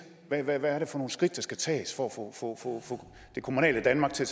hvad er det for nogle skridt der skal tages for at få det kommunale danmark til